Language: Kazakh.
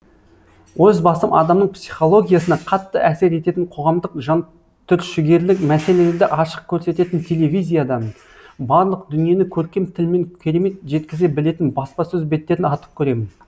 өз басым адамның психологиясына қатты әсер ететін қоғамдық жантүршігерлік мәселерді ашық көрсететін телевизиядан барлық дүниені көркем тілмен керемет жеткізе білетін баспасөз беттерін артық көремін